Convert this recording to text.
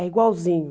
É igualzinho.